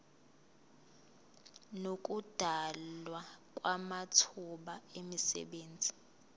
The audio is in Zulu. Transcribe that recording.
nokudalwa kwamathuba emisebenzi